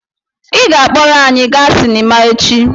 Ị ga-akpọrọ anyị gaa sinima echi!